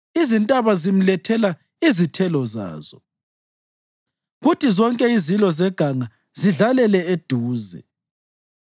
Izintaba zimlethela izithelo zazo, kuthi zonke izilo zeganga zidlalele eduze.